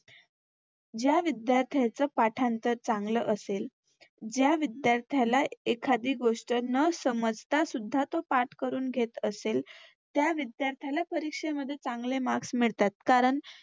ज्या विद्यार्थ्यांचं पाठांतर चांगलं असेल, ज्या विध्यार्थ्याला एखादी गोष्ट न समजता सुद्धा तो पाठ करून घेत असेल त्या विध्यार्थ्याला परीक्षेमध्ये चांगले मार्क्स मिळतात. कारण